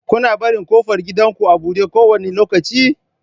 Kuna barin ƙofar gidanku a buɗe kowane lokaci?